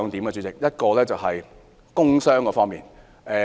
第一，是關於工傷方面。